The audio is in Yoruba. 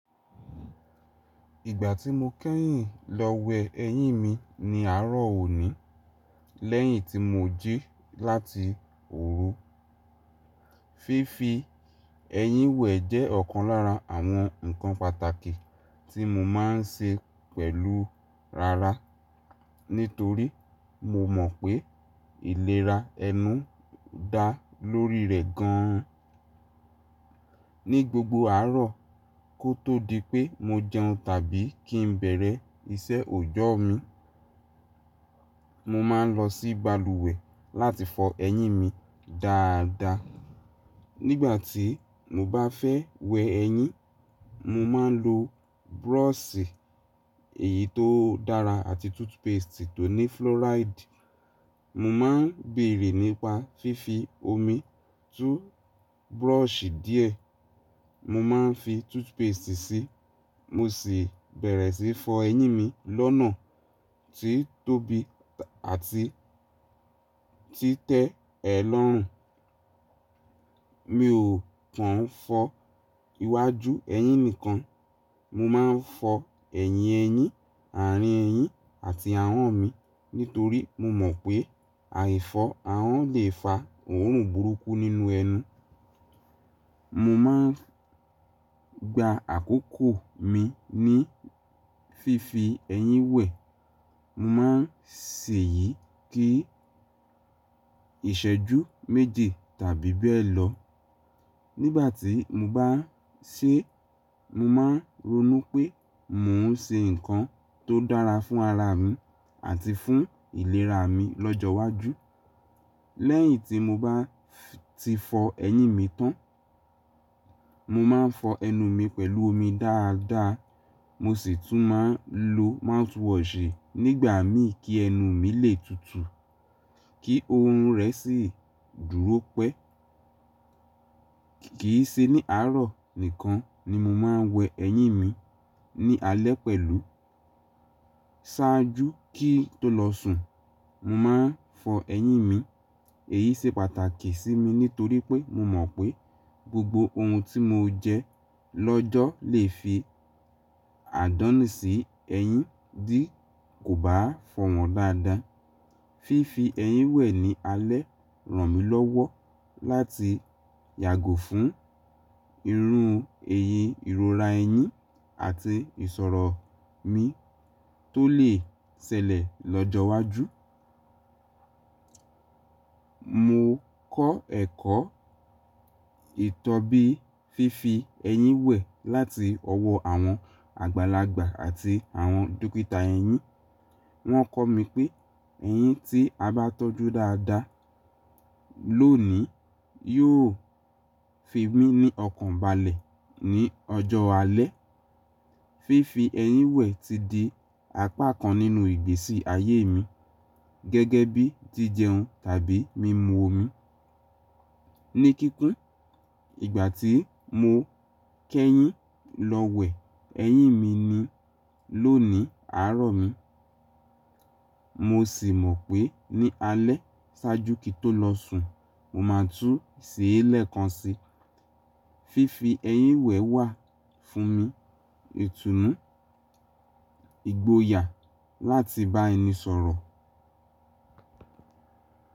Ìgbà tí mo kẹ́yìn lọ wẹ ẹyín mi ni àárọ̀ òní, lẹ́yìn tí mo jí láti òru. Fífi ẹyín wẹ̀ jẹ́ ọ̀kan lára àwọn ǹkan pàtàkì tí mo máa ń ṣe pẹ̀lú rara, nítorí mo mọ̀ pé ìlera ẹnu ń dà lórí rẹ̀ gan. Ni gbogbo àárọ̀, kó tó di pé mo jẹun tàbí kí n bẹ̀rẹ̀ iṣẹ́ ọjọ́ mi, mo máa ń lọ sí balùwẹ̀ láti fọ ẹyín mi dáadáa. Nígbà tí mo bá fẹ́ wẹ ẹyín, mo máa ń lo búrọ̀ṣì èyí tó dára àti toothpaste tó ní fluoride. Mo máa ń bèrè nípa fífi omi tú búrọ̀ṣì díẹ̀, mo máa ń fi toothpaste sí, mo sì bẹ̀rẹ̀ síí fọ ẹyín mi lọ́nà tí ó tóbi àti tí tẹ́ ẹ lọ́rùn. Mi ò kàn fọ iwájú ẹyín nìkan, mo máa ń fọ ẹ̀yìn ẹyín, àárín ẹyín àti ahọ́n mi, nítorí mo mọ̀ pé àìfọ̀ ahọ́n lè fa òórùn burúkú nínú ẹnu. Mo máa ń gba àkókò mi ní fífi ẹyín wẹ̀, mo máa ń ṣe èyí kí ìṣẹ́jú méji tàbí bẹ́ẹ̀ lọ. Nígbà tí mo bá ṣe, mo máa ń ronú pé mò ń ṣe ǹkan tó dára fún ara mi àti fún ìlera mi lọ́jọ́wájú. Lẹ́yìn tí mo bá ti fọ ẹyín mi tán, mo máa ń fọ ẹnu mi pẹ̀lú omi dáadáa, mo sì tún máa ń lo mouthwash nígbà mi kí ẹnu mi lè tutù, kí oorun rẹ̀ sì dúró pẹ́. Kìí ṣe ní àárọ̀ nìkan ni mo máa ń wẹ ẹyín mi, ní alẹ́ pẹ̀lú, ṣáájú kí tó lọ sùn, mo máa ń fọ ẹyín mi. Èyí ṣe pàtàkì sí mi nítorí pé mo mọ̀ pé gbogbo ohun tí mo jẹ lọ́jọ́ lè fi àdánù sí ẹyín dí kò bá fọ̀ wọ́n dáadáa. Fífi ẹyín wẹ̀ ní alẹ́ ràn mí lọ́wọ́ láti yàgò fún irun èyí ìrora ẹyín àti ìṣòro mi tó lè ṣẹlẹ̀ lọ́jọ́wájú. Mo kọ́ ẹ̀kọ́ ìtọ́bi fífi ẹyín wẹ̀ láti ọwọ́ àwọn àgbàlagbà àti àwọn dókítà ẹyín. Wọ́n kọ́ mi pé ẹyín tí a bá tọ́jú dáadáa lónìí yóò fi mí ní ọkàn balẹ̀ ní ọjọ́ alẹ́. Fífi ẹyín wẹ̀ ti di apá kan nínú ìgbésí ayé mi, gẹ́gẹ́ bíi jíjẹun tàbí mímu omi. Ní kíkún, ìgbà tí mo kẹ́yìn lọ wẹ ẹyín mi ni lónìí àárọ̀ mi, mo sì mọ̀ pé ní alẹ́ ṣáájú kí n tó lọ sùn, mo máa tún ṣe é lẹ́ẹ̀kan si. Fífi ẹyín wẹ̀ wà fún mi, ètùnú, ìgboyà láti bá ẹni sọ̀rọ̀.